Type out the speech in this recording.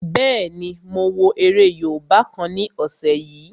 Bẹ́ẹ̀ni, mo wo eré yóòbá kan ní ọ̀sẹ̀ yìí